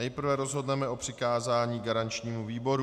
Nejprve rozhodneme o přikázání garančnímu výboru.